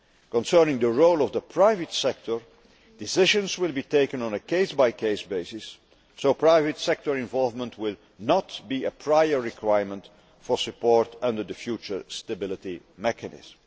Concerning the role of the private sector, decisions will be taken on a case by case basis, so private sector involvement will not be a prior requirement for support under the future Stability Mechanism.